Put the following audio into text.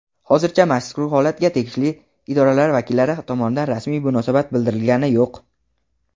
Hozircha mazkur holatga tegishli idoralar vakillari tomonidan rasmiy munosabat bildirilgani yo‘q.